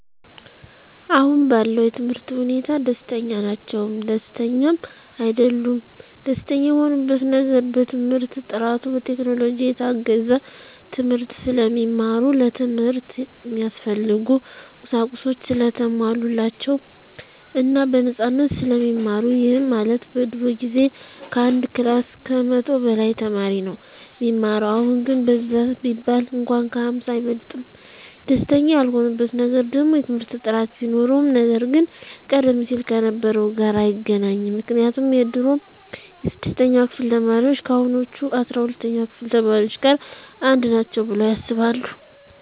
አሁን ባለው የትምህርት ሁኔታ ደስተኛ ናቸውም ደስተኛም አይደሉምም። ደስተኛ የሆኑበት ነገር በትምህርት ጥራቱ፣ በቴክኖሎጂ የታገዘ ትምህርት ስለሚማሩ፣ ለትምህርት እሚያስፈልጉ ቁሳቁሶች ሰለተሟሉላቸው እና በነፃነት ስለሚማሩ ይህም ማለት በድሮ ጊዜ ከአንድ ክላስ ከመቶ በላይ ተማሪ ነው እሚማረው አሁን ግን በዛ ቢባል እንኳን ከ ሃምሳ አይበልጥም። ደስተኛ ያልሆኑበት ነገር ደግሞ የትምህርት ጥራት ቢኖርም ነገር ግን ቀደም ሲል ከነበረው ጋር አይገናኝም ምክንያቱም የድሮ የስድስተኛ ክፍል ተማሪዎች ከአሁኖቹ አስራ ሁለተኛ ክፍል ተማሪዎች ጋር አንድ ናቸው ብለው ያስባሉ።